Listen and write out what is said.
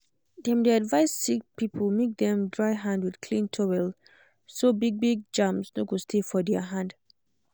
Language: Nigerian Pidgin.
dem dey advise sick people make dem dry hand with clean towel so big big germs no go stay for their hand.